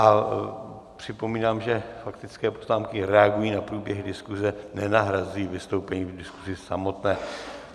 A připomínám, že faktické poznámky reagují na průběh diskuze, nenahrazují vystoupení v diskuzi samotné.